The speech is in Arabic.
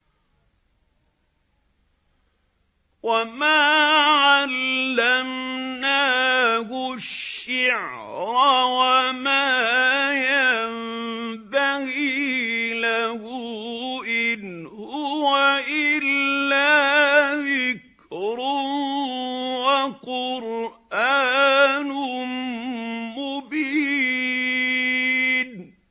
وَمَا عَلَّمْنَاهُ الشِّعْرَ وَمَا يَنبَغِي لَهُ ۚ إِنْ هُوَ إِلَّا ذِكْرٌ وَقُرْآنٌ مُّبِينٌ